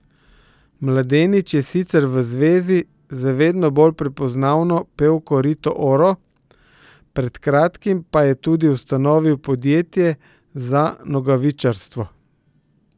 Mladenič je sicer v zvezi z vedno bolj prepoznavno pevko Rito Oro, pred kratkim pa je tudi ustanovil podjetje za nogavičarstvo.